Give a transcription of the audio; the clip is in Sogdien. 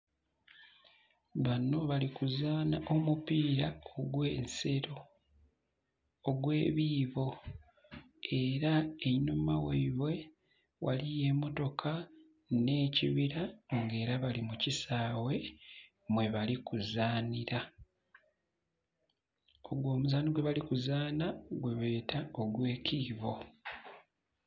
Bano bali kuzaana omupiira ogw'ensero, ogw'ebiibo. Era einhuma ghaibwe ghaliyo emmotoka nh'ekibira, ng'era bali mu kisaawe, mwebali kuzaanira. Ogwo omuzaano gwebali kuzaana gwebeeta ogw'ekiibo.